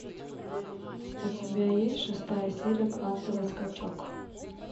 у тебя есть шестая серия квантовый скачок